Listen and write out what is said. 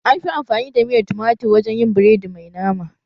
Anfi amfani da miyar tumatir wajen yin biredi mai nama